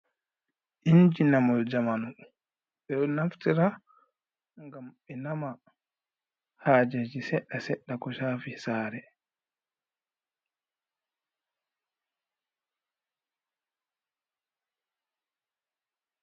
Inji namol jamanu, ɓeɗo naftira ngam be nama hajeji seɗɗa seɗɗa ko shafi saare.